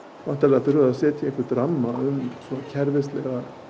setja ramma utan um kerfislega